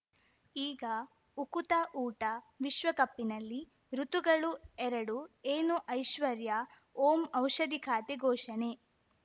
ಈಗ ಉಕುತ ಊಟ ವಿಶ್ವಕಪ್ಪಿನಲ್ಲಿ ಋತುಗಳು ಎರಡು ಏನು ಐಶ್ವರ್ಯಾ ಓಂ ಔಷಧಿ ಖಾತೆ ಘೋಷಣೆ